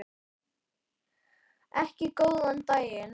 Ekki góðan daginn.